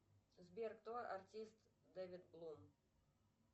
сбер кто артист дэвид блум